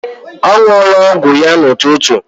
Ọ ṅụọla ọgwụ ya n'ụtụtụ.